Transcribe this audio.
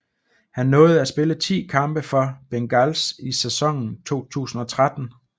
Han nåede at spille 10 kampe for Bengals i sæsonen 2013